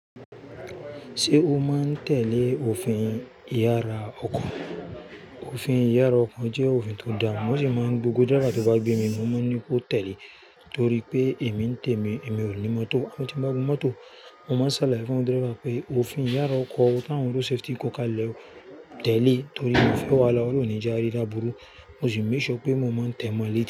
Ṣé o máa ń tẹ̀lé òfin ìyára ọkọ̀? Òfin ìyára ọkọ̀ jẹ́ òfin tó da, mo sì máa ń gbogbo driver tó bá gbé mi mọ́ máa ń ní kó tẹ̀lé torí pé èmi ń tẹ̀mi èmi ò ní mọ́tò. Ti mbá wo mọ́tò, mo máa ń ṣàlàyé fún driver pé òfin ìyára ọkọ̀, ti awọn road safety ko ka lẹ́ o tẹ̀lé torí mio fẹ́ wáhala o Olun oní je ari lábúrú mo sì make sure pé mo máa ń tẹ̀mọ́ lẹ̀ ti.